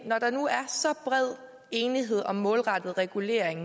når der nu er så bred enighed om en målrettet regulering